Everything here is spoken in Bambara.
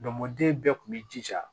den bɛɛ tun b'i jija